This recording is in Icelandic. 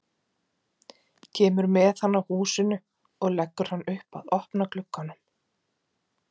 Kemur með hann að húsinu og leggur hann upp að opna glugganum.